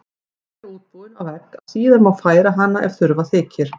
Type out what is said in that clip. Þannig útbúin á vegg að síðar má færa hana ef þurfa þykir.